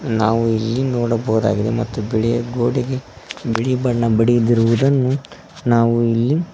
ನಾವು ಇಲ್ಲಿ ನೋಡಬಹುದಾಗಿದೆ ಮತ್ತು ಬಿಳಿ ಗೋಡೆಗೆ ಬಿಳಿ ಬಣ್ಣ ಬಡಿದಿರುವುದನ್ನು ನಾವು ಇಲ್ಲಿ--